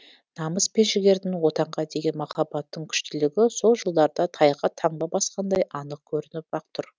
намыс пен жігердің отанға деген махаббаттың күштілігі сол жылдарда тайға таңба басқандай анық көрініп ақ тұр